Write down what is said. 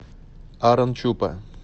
арончупа